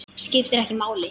Skiptir ekki máli.